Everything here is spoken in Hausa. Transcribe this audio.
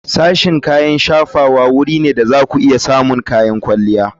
Sashen kayan shafawa wuri ne da za ku iya samun kayan kwalliya.